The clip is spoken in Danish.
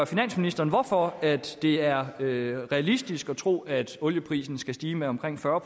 finansministeren hvorfor det er realistisk at tro at olieprisen skal stige med omkring fyrre